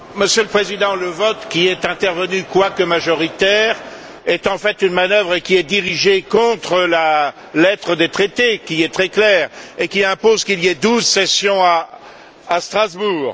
Monsieur le Président, le vote qui est intervenu, quoique majoritaire, est en fait une manœuvre qui est dirigée contre la lettre des traités, qui est très claire et qui impose qu'il y ait douze sessions à Strasbourg.